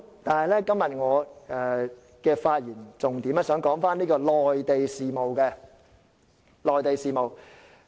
但是，我今天的發言重點是在內地事務方面。